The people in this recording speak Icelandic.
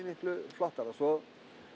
miklu flottara svo